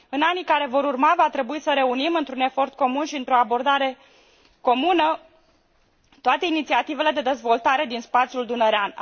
În anii care vor urma va trebui să reunim într un efort comun și într o abordare comună toate inițiativele de dezvoltare din spațiul dunărean.